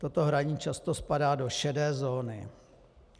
Toto hraní často spadá do šedé zóny.